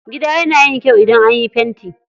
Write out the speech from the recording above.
Gida yana yin kyau idan anyo fenti.